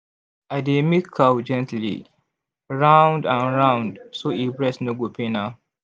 i dey milk cow gently round and round so e breast no go pain am.